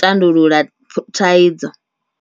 tandulula thaidzo.